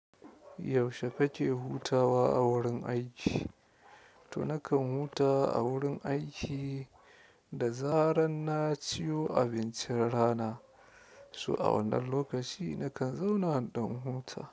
Yaushe kake hutawa a wurin aiki? To nakan huta a wurin aiki da zaran na ciyo abincin rana. So a wannan lokaci nakan zauna in ɗan huta.